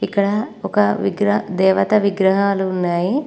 ఇక్కడ ఒక విగ్ర దేవత విగ్రహాలు ఉన్నాయి.